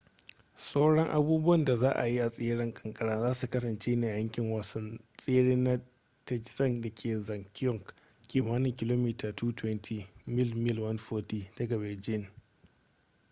sauran abubuwan da za a yi a tseren kankara za su kasance ne a yankin wasan tsere na taizicheng da ke zhangjiakou kimanin kilomita 220 mil mil 140 daga beijing